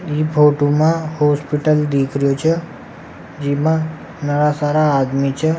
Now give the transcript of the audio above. इ फोटो मा हॉस्पिटल दिख रिहा छ जिमा नवा सारा आदमी छ।